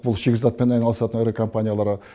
бұл шикізатпен айналысатын ірі компанияларға